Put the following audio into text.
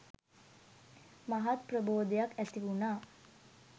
මහත් ප්‍රබෝධයක් ඇති වුනා.